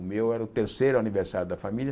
O meu era o terceiro aniversário da família.